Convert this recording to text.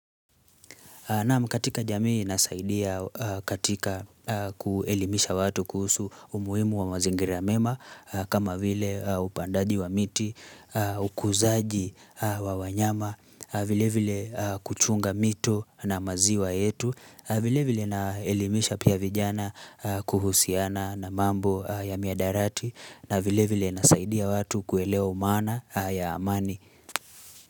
Naam katika jamii nasaidia katika kuelimisha watu kuhusu umuhimu wa mazingira mema kama vile upandaji wa miti, ukuzaji wa wanyama, vile vile kuchunga mito na maziwa yetu, vile vile naelimisha pia vijana kuhusiana na mambo ya mihadarati na vile vile nasaidia watu kuelewa umaana ya amani.